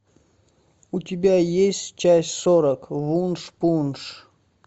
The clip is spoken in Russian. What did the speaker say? у тебя есть часть сорок вуншпунш